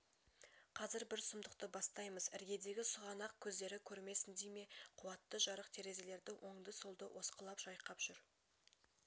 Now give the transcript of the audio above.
қазір бір сұмдықты бастаймыз іргедегі сұғанақ көздері көрмесін дей ме қуатты жарық терезелерді оңды-солды осқылап жайқап жүр